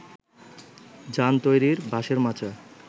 জান তৈরির বাঁশের মাচা